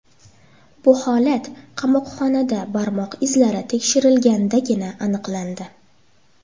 Bu holat qamoqxonada barmoq izlari tekshirilgandagina aniqlandi.